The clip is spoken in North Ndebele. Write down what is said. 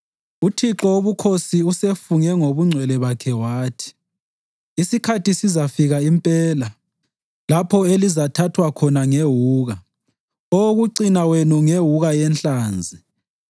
UThixo Wobukhosi usefunge ngobungcwele bakhe wathi: “Isikhathi sizafika impela lapho elizathathwa khona ngewuka, owokucina wenu ngewuka yenhlanzi.